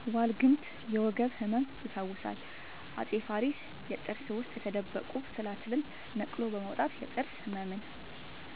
ዋልግምት የወገብ ህመም ይፈውሳል አፄ ፋሪስ የጥርስ ውስጥ የተደበቁ ትላትልን ነቅሎ በማውጣት የጥርስ ህመምን